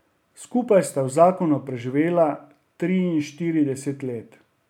Skupaj sta v zakonu preživela triinštirideset let.